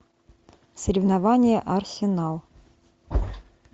соревнования арсенал